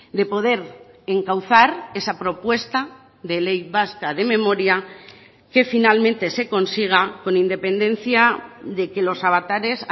de poder encauzar esa propuesta de ley vasca de memoria que finalmente se consiga con independencia de que los avatares